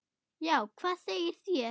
Já, hvað segið þér?